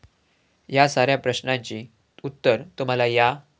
या साऱ्या प्रश्नांची उत्तरं तुम्हाला या.